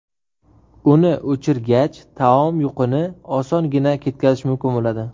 Uni o‘chirgach taom yuqini osongina ketkazish mumkin bo‘ladi.